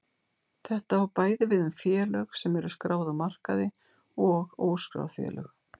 Þetta á bæði við um félög sem eru skráð á markaði og óskráð félög.